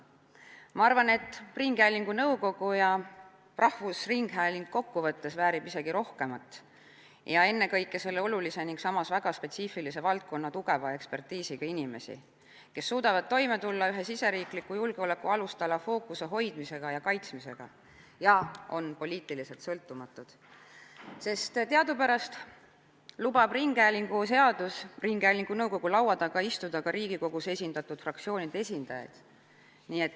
Ma arvan, et ringhäälingunõukogu ja rahvusringhääling väärivad isegi rohkemat, ennekõike aga selle olulise ja samas väga spetsiifilise valdkonna tugeva ekspertiisiga inimesi, kes suudavad toime tulla ühe sisejulgeoleku alustala fookuse hoidmise ja kaitsmisega ning on poliitiliselt sõltumatud, sest teadupärast lubab ringhäälingu seadus ringhäälingu nõukogu laua taga istuda ka Riigikogus esindatud fraktsioonide esindajail.